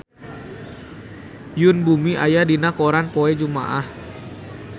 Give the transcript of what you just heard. Yoon Bomi aya dina koran poe Jumaah